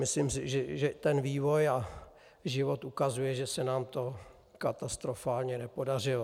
Myslím si, že vývoj a život ukazuje, že se nám to katastrofálně nepodařilo.